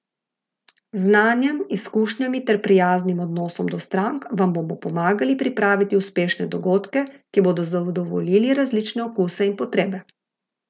Z znanjem, izkušnjami ter prijaznim odnosom do strank vam bodo pomagali pripraviti uspešne dogodke, ki bodo zadovoljili različne okuse in potrebe.